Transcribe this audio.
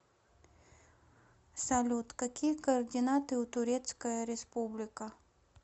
салют какие координаты у турецкая республика